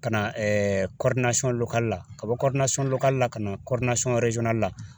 Ka na la ka bɔ la ka na la